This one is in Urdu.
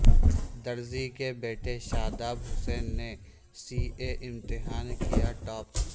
درزی کے بیٹے شاداب حسین نے سی اے امتحان کیا ٹاپ